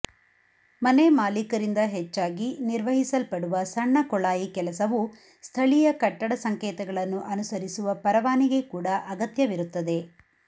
ಮನೆಮಾಲೀಕರಿಂದ ಹೆಚ್ಚಾಗಿ ನಿರ್ವಹಿಸಲ್ಪಡುವ ಸಣ್ಣ ಕೊಳಾಯಿ ಕೆಲಸವು ಸ್ಥಳೀಯ ಕಟ್ಟಡ ಸಂಕೇತಗಳನ್ನು ಅನುಸರಿಸುವ ಪರವಾನಿಗೆ ಕೂಡಾ ಅಗತ್ಯವಿರುತ್ತದೆ